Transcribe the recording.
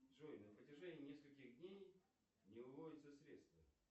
джой на протяжении нескольких дней не выводятся средства